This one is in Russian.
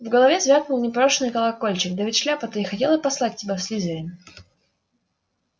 в голове звякнул непрошеный колокольчик да ведь шляпа-то и хотела послать тебя в слизерин